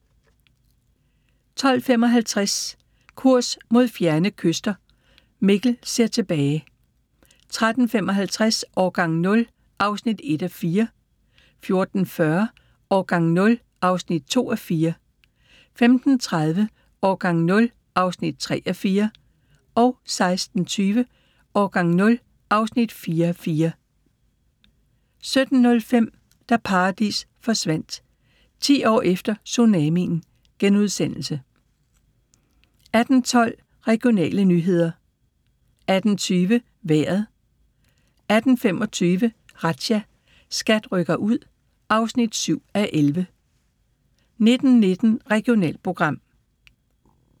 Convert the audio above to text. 12:55: Kurs mod fjerne kyster – Mikkel ser tilbage 13:55: Årgang 0 (1:4) 14:40: Årgang 0 (2:4) 15:30: Årgang 0 (3:4) 16:20: Årgang 0 (4:4) 17:05: Da paradis forsvandt – 10 år efter tsunamien * 18:12: Regionale nyheder 18:20: Vejret 18:25: Razzia – SKAT rykker ud (7:11) 19:19: Regionalprogram